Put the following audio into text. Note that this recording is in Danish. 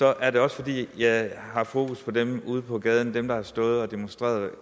er det også fordi jeg har fokus på dem ude på gaden dem der har stået og demonstreret